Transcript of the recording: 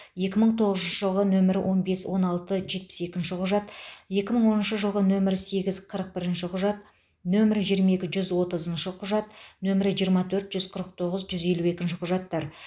екі мың тоғызыншы жылғы нөмірі он бес он алты жетпіс екінші құжат екі мың оныншы жылғы нөмірі сегіз қырық бірінші құжат нөмірі жиырма екі жүз отызыншы құжат нөмірі жиырма төрт жүз қырық тоғыз жүз елу екінші құжаттар